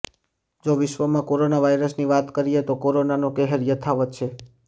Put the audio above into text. જો વિશ્વમાં કોરોના વાયરસની વાત કરીએ તો કોરોનાનો કહેર યથાવત છે